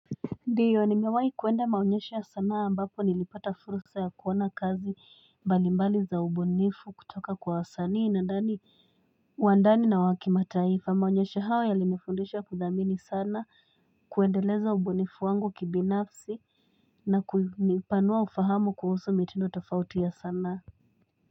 Ndiyo nimewai kuenda maonyesho ya sanaa ambapo nilipata fursa ya kuona kazi. Mbalimbali za ubunifu kutoka kwa wasanii wa ndani na wa kimataifa. Maonyesho hawa yalinifundisha kudhamini sana, kuendeleza ubunifu wangu kibinafsi. Na kunipanua ufahamu kuhusu mitindo tofauti ya sanaa.